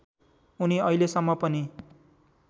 उनी अहिलेसम्म पनि